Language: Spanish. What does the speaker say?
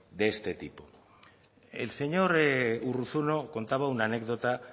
de este tipo el señor urruzuno contaba una anécdota